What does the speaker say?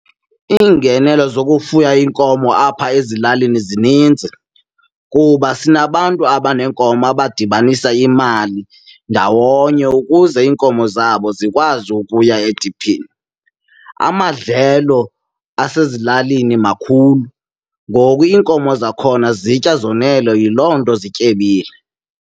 Iingenelo zokufuya iinkomo apha ezilalini zinintsi kuba sinabantu abanee nkomo abadibanisa imali ndawonye ukuze iinkomo zabo zikwazi ukuya ediphini. Amadlelo asezilalini makhulu ngoku iinkomo zakhona zitya zonele, yiloo nto zityebile.